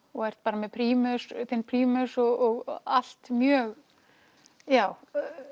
og ert bara með prímus prímus og allt mjög já